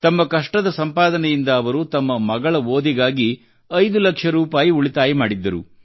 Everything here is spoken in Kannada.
ತಮ್ಮ ಕಷ್ಟದ ಸಂಪಾದನೆಯಿಂದ ವರು ತಮ್ಮ ಮಗಳ ಓದಿಗಾಗಿ ಐದು ಲಕ್ಷ ರೂಪಾಯಿ ಉಳಿತಾಯ ಮಾಡಿದ್ದರು